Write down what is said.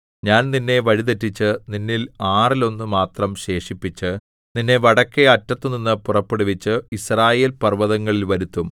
ഞാൻ നിന്നെ വഴിതെറ്റിച്ച് നിന്നിൽ ആറിലൊന്നു മാത്രം ശേഷിപ്പിച്ച് നിന്നെ വടക്കെ അറ്റത്തുനിന്നു പുറപ്പെടുവിച്ച് യിസ്രായേൽ പർവ്വതങ്ങളിൽ വരുത്തും